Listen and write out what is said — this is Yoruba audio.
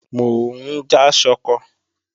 Mò ń já ṣọkọ